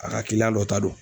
A ka dɔ ta do.